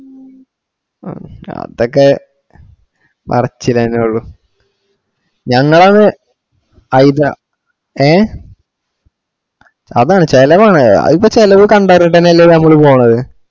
മ്മ് അതൊക്കെ പറച്ചിലന്നുള്ള ഞങ്ങളന്ന് ഹൈദ ഏഹ് അതാണ് ചെലവാണ് അതിപ്പോ ചെലവ് കണ്ടറിഞ്ഞിട്ടല്ലെ ഞമ്മള് പോന്നത്‌